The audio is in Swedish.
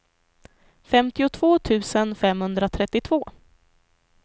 femtiotvå tusen femhundratrettiotvå